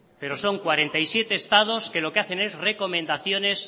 pero son cuarenta y siete estados que lo que hacen es recomendaciones